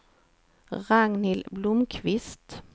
Ragnhild Blomqvist